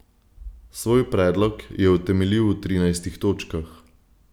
Svoj predlog je utemeljil v trinajstih točkah.